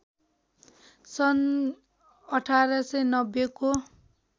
सन् १८९० को